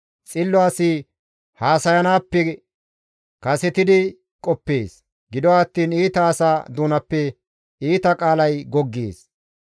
Xillo asi haasayanaappe kasetidi qoppees; gido attiin iita asa doonappe iita qaalay goggees.